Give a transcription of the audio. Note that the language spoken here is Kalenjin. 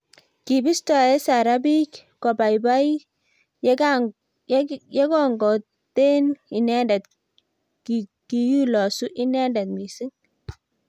kobistoo Sarah biik kobaibai yekongoten inendet kikolosuu inendet missing